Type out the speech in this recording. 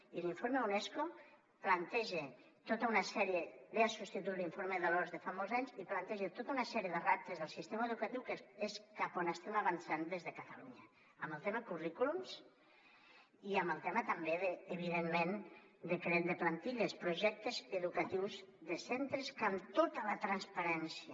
i l’informe unesco ve a substituir l’informe de l’oms de fa molts anys i planteja tota una sèrie de reptes del sistema educatiu que és cap a on estem avançant des de catalunya en el tema currículums i en el tema també evidentment del decret de plantilles projectes educatius de centres que amb tota la transparència